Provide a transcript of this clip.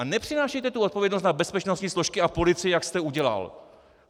A nepřenášejte tu odpovědnost na bezpečnostní složky a policii, jak jste udělal.